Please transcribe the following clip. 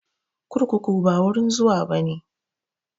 Kurkuku ba wurin zuwa bane